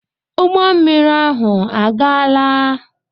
Ụgbọ mmiri ahụ agaala?